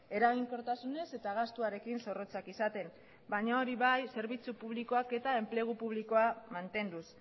eraginkortasunez eta gastuarekin zorrotzak izaten baina hori bai zerbitzu publikoak eta enplegu publikoa mantenduz